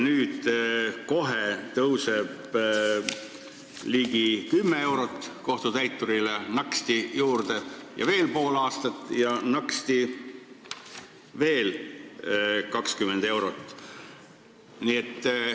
Nüüd kohe tuleb ligi 10 eurot kohtutäiturile naksti juurde ja läheb veel pool aastat, ja naksti veel 20 eurot.